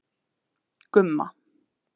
Gumma